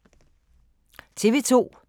TV 2